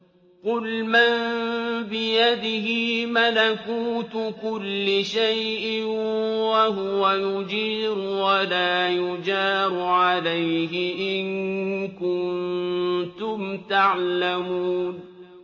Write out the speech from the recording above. قُلْ مَن بِيَدِهِ مَلَكُوتُ كُلِّ شَيْءٍ وَهُوَ يُجِيرُ وَلَا يُجَارُ عَلَيْهِ إِن كُنتُمْ تَعْلَمُونَ